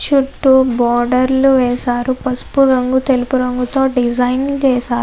చుట్టూ బోర్డర్ లు వేశారు. పసుపు రంగు ఎరుపు రంగుతో డిజైన్ వేశారు.